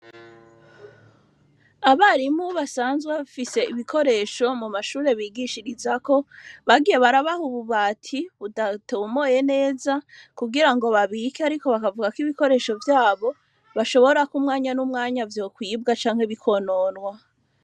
Abarimu basanzwe bafise ibikoresho mu mashure bigishirizako bagiye barabaha ubu bati budatomoye neza kugira ngo babike ariko bakavuga ko ibikoresho vyabo bashobora k'umwanya n'umwanya vyo kwibwa canke bikononwa.